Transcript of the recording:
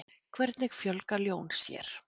hvernig fjölga ljón sér